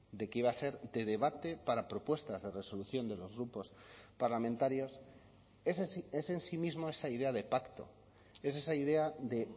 de que iba a ser de debate para propuestas de resolución de los grupos parlamentarios es en sí mismo esa idea de pacto es esa idea de